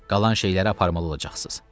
Qalan şeyləri aparmalı olacaqsınız.